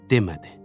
Demədi.